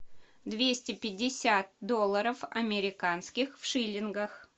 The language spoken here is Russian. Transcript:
двести пятьдесят долларов американских в шиллингах